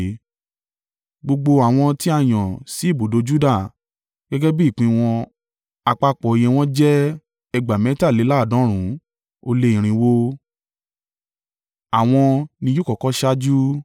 Gbogbo àwọn tí a yàn sí ibùdó Juda, gẹ́gẹ́ bí ìpín wọn àpapọ̀ iye wọn jẹ́ ẹgbàá mẹ́tàléláàdọ́rùn-ún ó lé irinwó (186,400). Àwọn ni yóò kọ́kọ́ ṣáájú.